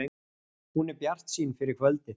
Hún er bjartsýn fyrir kvöldið